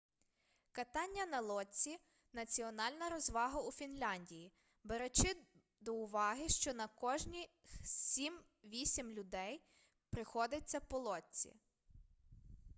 катання на лодці національна розвага у фінляндії беручи до уваги що на кожних сім-вісм людей приходиться по лодці